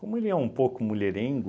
Como ele é um pouco mulherengo,